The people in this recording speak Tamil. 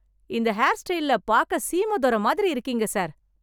இந்த ஹேர் ஸ்டைல்ல பாக்க சீமை துரை மாதிரி இருக்கீங்க சார்.